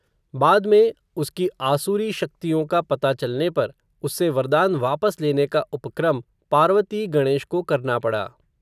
बाद में, उसकी आसुरी शक्तियों का पता चलने पर, उससे वरदान वापस लेने का उपक्रम, पार्वती गणेश को करना पड़ा